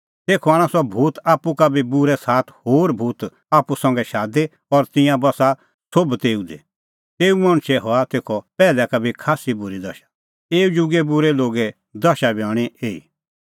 तेखअ आणा सह भूत आप्पू का बी बूरै सात होर भूत आप्पू संघै शादी और तिंयां बस्सा सोभ तेऊ दी तेऊ मणछे हआ तेखअ पैहलै का बी खास्सी बूरी दशा एऊ जुगे बूरै लोगे दशा बी हणीं एही